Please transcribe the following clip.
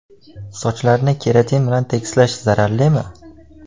Sochlarni keratin bilan tekislash zararlimi?.